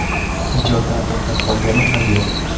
Ijoddan to‘xtab qolganim ham yo‘q.